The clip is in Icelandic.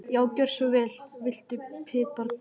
Já, gjörðu svo vel. Viltu pipar líka?